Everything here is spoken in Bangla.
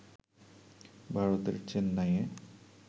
ভারতের চেন্নাইয়ে